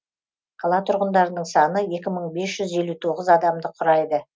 қала тұрғындарының саны екі мың бес жүз елу тоғыз адамды құрайды